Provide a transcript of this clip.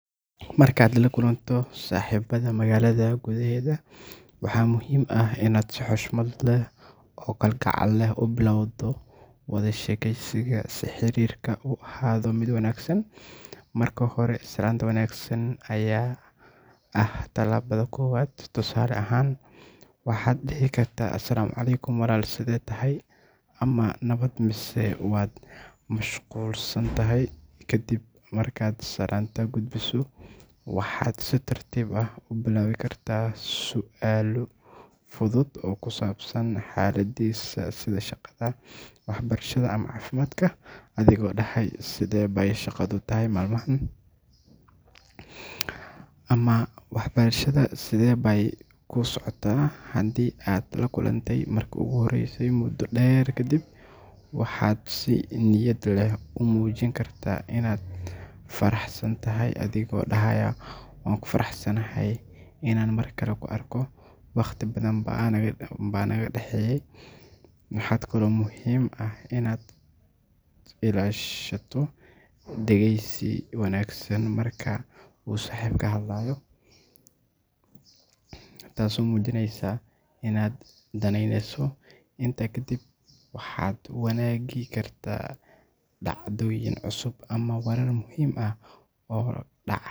Markaad la kulanto saaxiibadaa magaalada gudaheeda, waxaa muhiim ah inaad si xushmad leh oo kalgacal leh u bilowdo wada sheekaysiga si xiriirka u ahaado mid wanaagsan. Marka hore, salaanta wanaagsan ayaa ah tallaabada koowaad, tusaale ahaan waxaad dhihi kartaa “Asc walaal sidee tahay?” ama “Nabad mise waad mashquulsan tahay?”. Kadib markaad salaanta gudbiso, waxaad si tartiib ah u bilaabi kartaa su’aalo fudud oo ku saabsan xaaladdiisa sida shaqada, waxbarashada ama caafimaadka, adigoo dhahaaya “Sidee bay shaqadu tahay maalmahan?” ama “Waxbarashada sidee bay kuu socotaa?”. Haddii aad la kulantay markii ugu horreysay muddo dheer ka dib, waxaad si niyad leh u muujin kartaa inaad faraxsan tahay, adigoo dhahaaya “Waan ku faraxsanahay inaan mar kale ku arko, waqti badan baa naga dhexeeyey.” Waxaa kaloo muhiim ah inaad ilaashato dhegeysi wanaagsan marka uu saaxiibkaaga hadlayo, taasoo muujinaysa inaad danaynayso. Intaa kadib waxaad wadaagi kartaa dhacdooyin cusub ama warar muhiim ah oo dhacay.